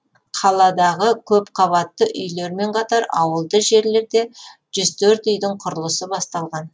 қаладағы көпқабатты үйлермен қатар ауылды жерлерде жүз төрт үйдің құрылысы басталған